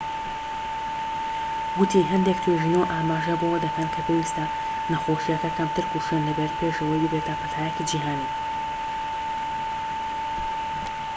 ووتی هەندێک توێژینەوە ئاماژە بەوە دەکەن کە پێویستە نەخۆشیەکە کەمتر کوشندە بێت پێش ئەوەی ببێتە پەتایەکی جیھانی